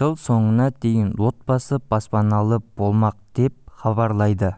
жыл соңына дейін отбасы баспаналы болмақ деп хабарлайды